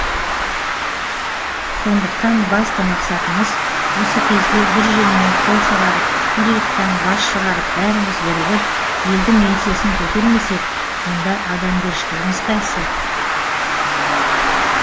сондықтан басты мақсатымыз осы кезде бір жеңнен қол шығарып бір иықтан бас шығарып бәріміз бірігіп елдің еңсесін көтермесек онда адамгершілігіміз қайсы